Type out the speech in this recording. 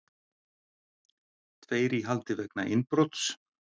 Tveir í haldi vegna innbrots